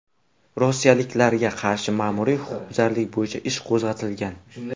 Rossiyalikka qarshi ma’muriy huquqbuzarlik bo‘yicha ish qo‘zg‘atilgan.